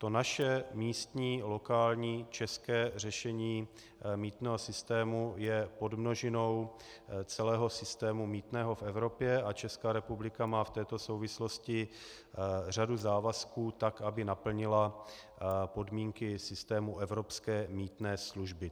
To naše místní, lokální, české řešení mýtného systému je podmnožinou celého systému mýtného v Evropě a Česká republika má v této souvislosti řadu závazků, tak aby naplnila podmínky systému evropské mýtné služby.